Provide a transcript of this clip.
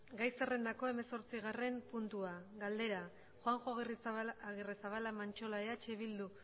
gai zerrendako hamazortzigarren puntua galdera juanjo agirrezabala mantxola eh bildu